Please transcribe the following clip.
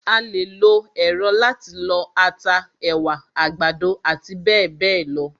A lè lo èrọ láti lọ ata, ẹ̀wà, àgbàdo àti bẹ́ẹ̀bẹ́ẹ̀ lọ.